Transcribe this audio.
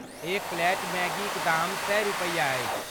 एक प्लेट मैगीक दाम सए रुपैया अछि।